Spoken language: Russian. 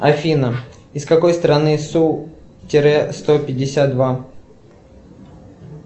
афина из какой страны су тире сто пятьдесят два